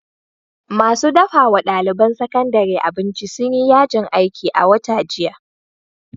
Masu dafa wa ɗaliban sakandare abinci sun yi yajin aiki a wata jiha.